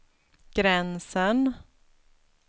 gränsen